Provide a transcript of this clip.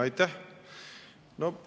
Aitäh!